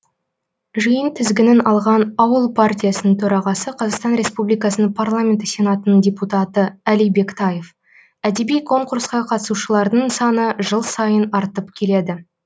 жиын тізгінін алған ауыл партиясының төрағасы қазақстан республикасының парламенті сенатының депутаты әли бектаев әдеби конкурсқа қатысушылардың саны жыл сайын артып келеді